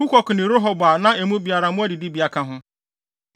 Hukok ne Rehob a na emu biara mmoa adidibea ka ho.